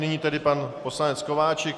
Nyní tedy pan poslanec Kováčik.